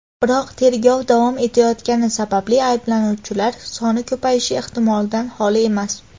Biroq tergov davom etayotgani sababli ayblanuvchilar soni ko‘payishi ehtimoldan holi emas.